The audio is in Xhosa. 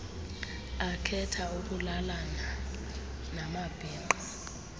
akhetha ukulalana namabhinqa